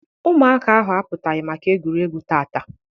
Ụmụaka ahụ apụtaghị maka egwuregwu taata.